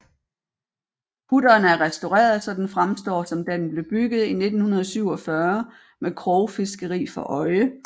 Kutteren er restaureret så den fremstår som da den blev bygget i 1947 med krogfiskeri for øje